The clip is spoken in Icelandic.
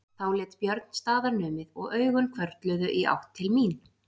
Þá lét Björn staðar numið og augun hvörfluðu í átt til mín.